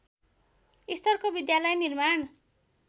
स्तरको विद्यालय निर्माण